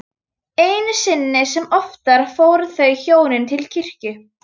Einu sinni sem oftar fóru þau hjónin til kirkju.